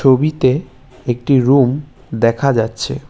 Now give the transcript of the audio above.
ছবিতে একটি রুম দেখা যাচ্ছে।